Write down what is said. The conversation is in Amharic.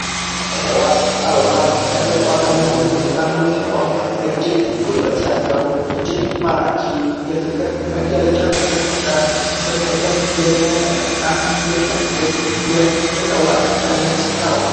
እጽዋት፦ አበባ፦ አበባ ከእጽዋት እይነቶች ዉስጥ አንዱ ሲሆን እጅግ ዉበት ያለው እጅግ ማራኪ የፍቅር መገለጫ የሆነ ስሜትን የሚያነቃቃ የሚያድስ የእጽዋት እይነት ነው።